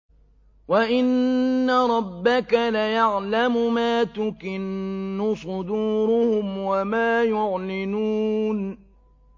وَإِنَّ رَبَّكَ لَيَعْلَمُ مَا تُكِنُّ صُدُورُهُمْ وَمَا يُعْلِنُونَ